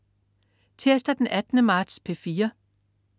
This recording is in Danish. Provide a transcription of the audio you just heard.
Tirsdag den 18. marts - P4: